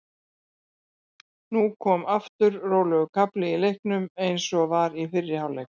Nú kom aftur rólegur kafli í leiknum eins og var í fyrri hálfleik.